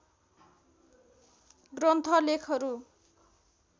ग्रन्थ लेखहरू